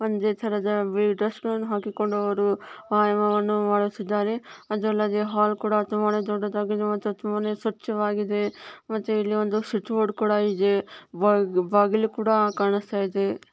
ಒಂದೇ ತರಹದ ಬಿಳಿ ಡ್ರೆಸ್ ನನ್ನು ಹಾಕಿಕೊಂಡು ಅವರು ವ್ಯಾಯಾಮವನ್ನು ಮಾಡುತಿದ್ದರೆ ಅದಲ್ಲದ್ದೆ ಹಾಲ್ ಕೂಡ ತುಂಬಾನೇ ದೊಡ್ದದಾಗಿ ಮತ್ತು ತುಂಬಾನೇ ಸ್ವಚ್ಛ ವಾಗಿದೆ ಮತ್ತೆ ಇಲ್ಲಿ ಒಂದು ಸ್ವಿಚ್ಬಾ ಬೋರ್ಡ್ ಕೂಡ ಇದೆ ಬಾಗ್ ಬಾಗಿಲು ಕೂಡ ಕಾಣಸ್ತಾಯಿದೆ.